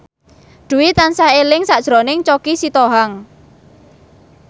Dwi tansah eling sakjroning Choky Sitohang